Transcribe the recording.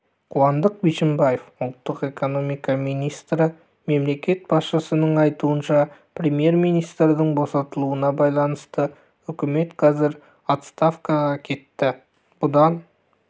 қуандық бишімбаев ұлттық экономика министрі мемлекет басшысының айтуынша премьер-министрдің босатылуына байланысты үкімет қазір отставкаға кетті бұдан